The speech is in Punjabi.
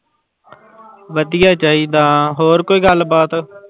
ਵਧੀਆ ਚਾਹੀਦਾ ਹੋਰ ਕੋਈ ਗੱਲਬਾਤ।